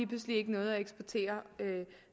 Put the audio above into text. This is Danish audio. pludselig ikke noget at eksportere